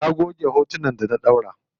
Na goge hotunan da na ɗaura.